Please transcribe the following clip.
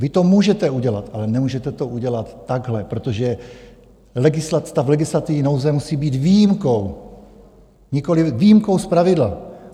Vy to můžete udělat, ale nemůžete to udělat takhle, protože stav legislativní nouze musí být výjimkou, nikoliv výjimkou z pravidla.